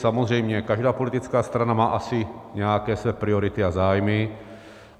Samozřejmě každá politická strana má asi nějaké své priority a zájmy.